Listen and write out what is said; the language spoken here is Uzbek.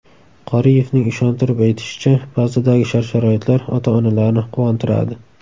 Qoriyevning ishontirib aytishicha, bazadagi shart-sharoitlar ota-onalarni quvontiradi.